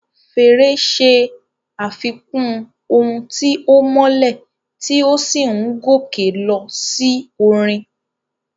Fèrè ṣe àfikún ohùn tí ó mọ́lẹ̀ tí ó sì ń gòkè lọ sí orin.